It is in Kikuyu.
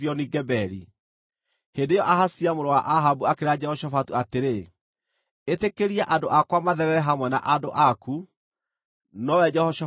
Hĩndĩ ĩyo Ahazia mũrũ wa Ahabu akĩĩra Jehoshafatu atĩrĩ, “Ĩtĩkĩria andũ akwa matherere hamwe na andũ aku,” nowe Jehoshafatu akĩrega.